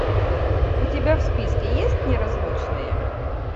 у тебя в списке есть неразлучные